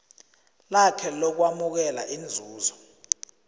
lakhe lokwamukela inzuzo